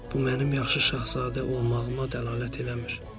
Bu mənim yaxşı şahzadə olmağıma dəlalət eləmir.